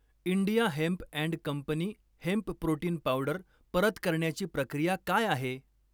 India hemp and company hemp protein powder परत करण्याची प्रक्रिया काय आहे?